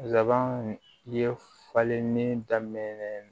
Zaban ye falenni daminɛ